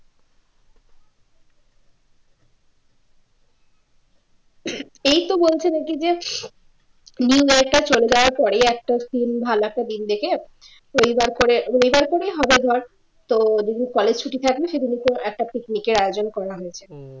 এইতো বলছিলো কী যে নয়টা-ছয়টা পরেই একটা দিন ভালো একটা দিন দেখে রবিবার করে রবিবার করেই হবে ধর তো যেদিন college ছুটি থাকবে সেদিন একটা picnic এ-র আয়োজন করা হয়েছে